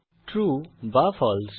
true বা ফালসে